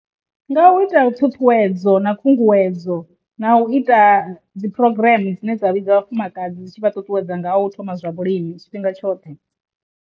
Nga u ita ṱhuṱhuwedzo na khunguwedzo na u ita dzi program dzine dza vha dza vhafumakadzi dzi tshi vha ṱuṱuwedza nga u thoma zwa vhulimi tshifhinga tshoṱhe.